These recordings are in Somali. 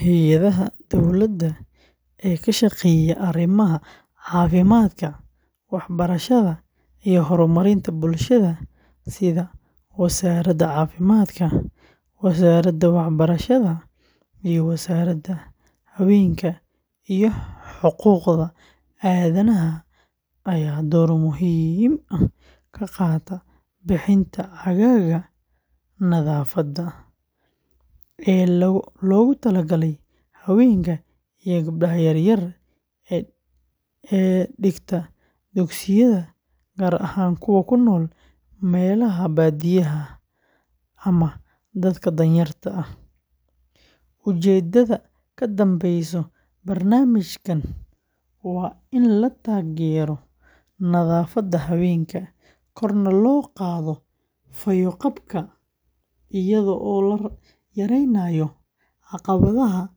Hay’adaha dowladda ee ka shaqeeya arrimaha caafimaadka, waxbarashada iyo horumarinta bulshada sida Wasaaradda Caafimaadka, Wasaaradda Waxbarashada, iyo Wasaaradda Haweenka iyo Xuquuqda Aadanaha ayaa door muhiim ah ka qaata bixinta caagagga nadaafadda ee loogu talagalay haweenka iyo gabdhaha yaryar ee dhigta dugsiyada, gaar ahaan kuwa ku nool meelaha baadiyaha ah ama dadka danyarta ah. Ujeeddada ka dambeysa barnaamijkan waa in la taageero nadaafadda haweenka, korna loo qaado fayo-qabka, iyadoo la yareynayo caqabadaha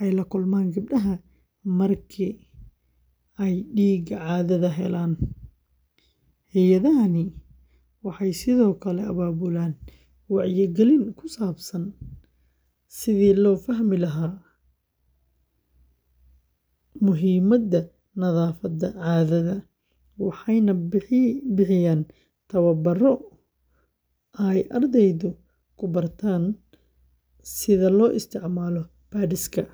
ay la kulmaan gabdhaha marka ay dhiigga caadada helaan. Hay’adahani waxay sidoo kale abaabulaan wacyigelin ku saabsan sidii loo fahmi lahaa muhiimada nadaafadda caadada, waxayna bixiyaan tababbarro ay ardaydu ku bartaan sida loo isticmaalo pads-ka.